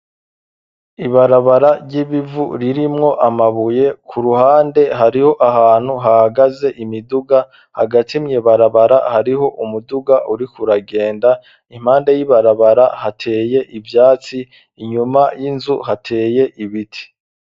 Ibarabara ry'ibivu ririmwo amabuye ku ruhande hariho ahantu hahagaze imiduga hagati mw,ibarabara hariho umuduga urikuragenda, impande y'ibarabara hateye ivyatsi, inyuma y'inzu hateye ibiti.